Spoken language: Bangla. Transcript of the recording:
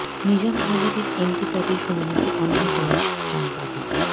নিজাম হাজারীর এমপি পদের শুনানিতে অন্য বেঞ্চ চান বাদী